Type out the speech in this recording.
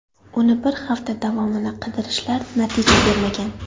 Uni bir hafta davomida qidirishlar natija bermagan.